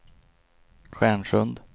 Stjärnsund